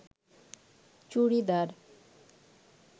churidar